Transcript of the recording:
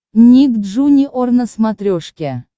ник джуниор на смотрешке